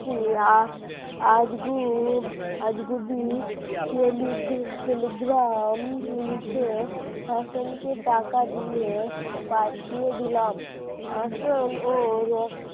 নামে একটি আজগুভ আজগুবি telegram লিখে হাসানকে টাকা দিয়ে পাঠিয়ে দিলাম। হাসানও ওর